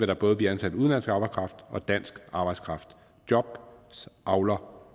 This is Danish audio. der både blive ansat udenlandsk arbejdskraft og dansk arbejdskraft jobs avler